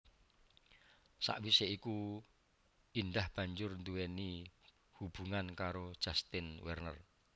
Sawisé iku Indah banjur nduwéni hubungan karo Justin Werner